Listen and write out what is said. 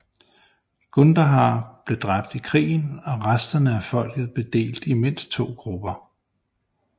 Gundahar blev dræbt i krigen og resterne af folket blev delt i mindst to grupper